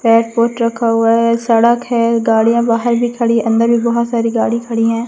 रखा हुआ है सड़क है गाड़ियां बाहर भी खड़ी अंदर भी बहोत सारी गाड़ी खड़ी हैं।